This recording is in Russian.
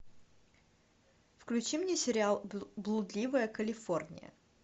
включи мне сериал блудливая калифорния